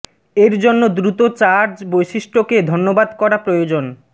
এর জন্য দ্রুত চার্জ বৈশিষ্ট্য কে ধন্যবাদ করা প্রয়োজন